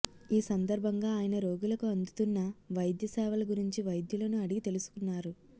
ఈ సందర్భంగా ఆయన రోగులకు అందుతున్న వైద్య సేవల గురించి వైద్యులను అడిగి తెలుసుకున్నారు